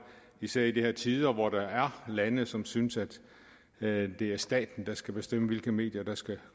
især i de her tider hvor der er lande som synes at det er staten der skal bestemme hvilke medier der skal